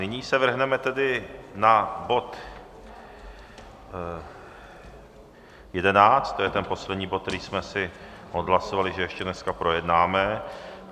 Nyní se vrhneme tedy na bod 11, to je ten poslední bod, který jsme si odhlasovali, že ještě dneska projednáme.